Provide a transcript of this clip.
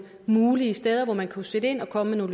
mulige steder hvor man kunne sætte ind og komme med